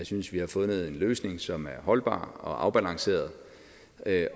synes vi har fundet en løsning som er holdbar og afbalanceret